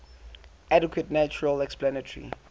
adequate natural explanatory